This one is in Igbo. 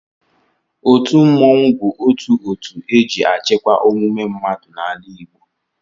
Otu mmọnwụ bụ otu otu e ji achịkwa omume mmadụ n'ala Igbo